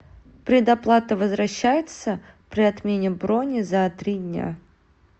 предоплата возвращается при отмене брони за три дня